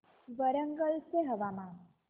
वरंगल चे हवामान